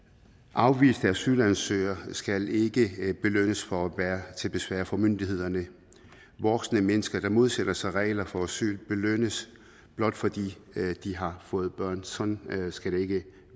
afviste asylansøgere skal ikke belønnes for at være til besvær for myndighederne voksne mennesker der modsætter sig regler for asyl belønnes blot fordi de har fået børn sådan skal det ikke